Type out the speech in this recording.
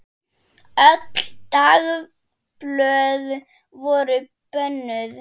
Öll dagblöð voru bönnuð.